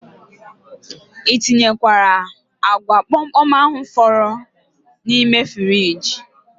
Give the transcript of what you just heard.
I tinyekwara agwa komkom ahu fọdụrụ n' ime friji?